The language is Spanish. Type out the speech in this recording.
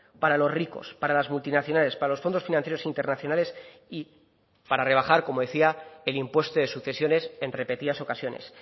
para los ricos para las multinacionales para los fondos financieros internacionales y para rebajar como decía el impuesto de sucesiones en repetidas ocasiones